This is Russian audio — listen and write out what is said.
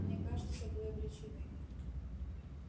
мне кажется вы обречены